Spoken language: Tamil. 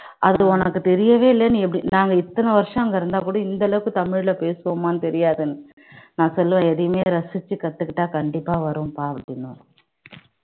அது உனக்கு தெரியவே இல்லை நீ எப்படி நாங்க இத்தனை வருஷம் அங்க இருந்தா கூட இந்த அளவுக்கு தமிழ்ல பேசுவோமான்னு தெரியாது நான் சொல்லுவேன் எதையுமே ரசிச்சு கத்துக்கிட்டா கண்டிப்பா வரும்பா அப்படின்னு